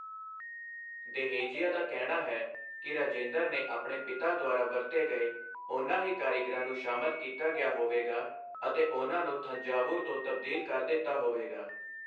ਦੇਹੇਜੀਆ ਦਾ ਕਹਿਣਾ ਹੈ ਕਿ ਰਾਜੇਂਦਰ ਨੇ ਆਪਣੇ ਪਿਤਾ ਦੁਆਰਾ ਵਰਤੇ ਗਏ ਉਹਨਾਂ ਹੀ ਕਾਰੀਗਰਾਂ ਨੂੰ ਸ਼ਾਮਲ ਕੀਤਾ ਗਿਆ ਹੋਵੇਗਾ ਅਤੇ ਉਹਨਾਂ ਨੂੰ ਥੰਜਾਵੁਰ ਤੋਂ ਤਬਦੀਲ ਕਰ ਦਿੱਤਾ ਹੋਵੇਗਾ।